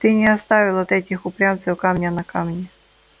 ты не оставил от этих упрямцев камня на камне